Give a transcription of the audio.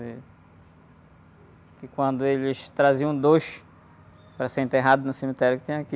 Eh... Que quando eles traziam dois para ser enterrado no cemitério que tem aqui,